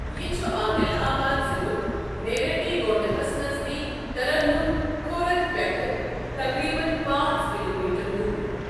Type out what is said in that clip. یہِ چھُ عادِل آباد ضِلُک نیریڈی گونڈہَس نزدیٖک ترنم خورد پیٹھٕ تقریباً پانٛژ کلوٗمیٹر دوٗر۔